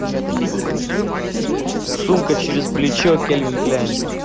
сумка через плечо кельвин кляйн